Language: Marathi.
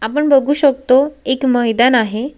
आपण बघु शकतो एक मैदान आहे.